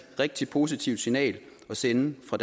rigtig positivt signal at sende fra